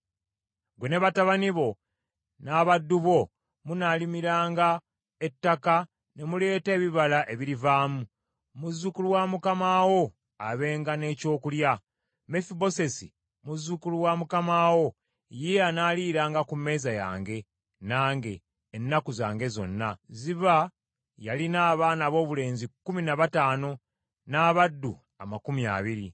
Ggwe ne batabani bo n’abaddu bo munaamulimiranga ettaka ne muleeta ebibala ebirivaamu, muzzukulu wa mukama wo abenga n’ekyokulya. Mefibosesi muzzukulu wa mukama wo, ye anaaliiranga ku mmeeza yange nange, ennaku zange zonna.” Ziba yalina abaana aboobulenzi kkumi na bataano n’abaddu amakumi abiri.